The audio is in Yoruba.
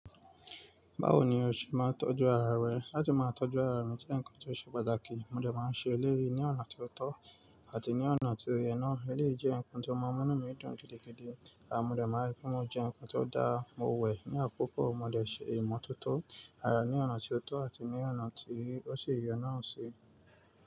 Báwo ni o ṣe máa ń tọ́jú ara rẹ? Láti máa tọ́jú ara mi jẹ́ nǹkan tó ṣe pàtàkì. Mo dẹ̀ máa ń ṣe eléyì ní ọ̀nà tí ó tọ́ àti ní ọ̀nà tí ó yẹ náà. Eléyì jẹ́ nǹkan tó má ń mú inú mii dùn gidigidi. À mo dẹ̀ máa rí pé mo jẹ nǹkan tó dáa, mo wẹ ní àkókò mo dẹ̀ ṣe ìmọ̀tótó ara ní ọ̀nà tó tọ́ àti ní ọ̀nà tí ó ṣì yẹ náà ṣe.